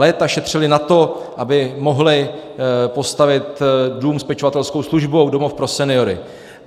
Léta šetřili na to, aby mohli postavit dům s pečovatelskou službou, domov pro seniory.